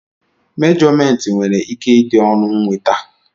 mèjọmèntị nwere ike ịdị ọnụ nweta